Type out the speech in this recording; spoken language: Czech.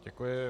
Děkuji.